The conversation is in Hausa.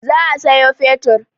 Za a sayo fetur.